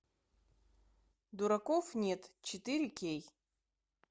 дураков нет четыре кей